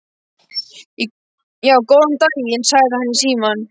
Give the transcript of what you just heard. Já, góðan daginn, sagði hann í símann.